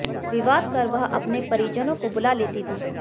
विवाद कर वह अपने परिजनों को बुला लेती थी